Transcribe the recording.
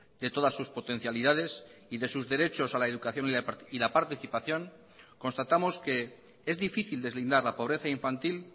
de todas sus potencialidades y de sus derechos a la educación y la participación constatamos que es difícil deslindar la pobreza infantil